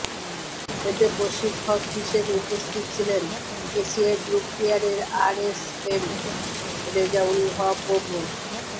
এতে প্রশিক্ষক হিসেবে উপস্থিত ছিলেন এসিআই ক্রপ কেয়ারের আর এস এম রেজাউল হক ও মো